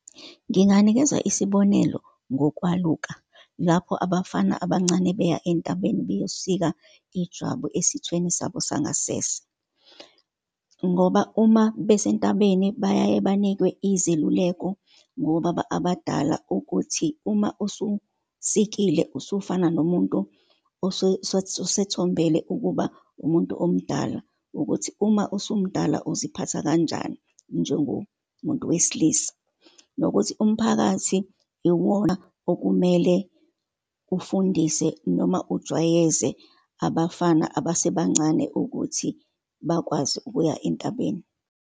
Nginganikeza isibonelo ngokwaluka, lapho abafana abancane beya entabeni beyosika ijwabu esithweni sabo sangasese. Ngoba uma besentabeni, bayaye banikwe izeluleko ngobaba abadala ukuthi, uma ususikile usufana nomuntu osethombele ukuba umuntu omdala, ukuthi uma usumdala uziphatha kanjani njengomuntu wesilisa, nokuthi umphakathi iwona okumele ufundise, noma ujwayeze abafana abasebancane ukuthi bakwazi ukuya entabeni.